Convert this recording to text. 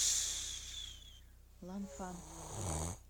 ланфан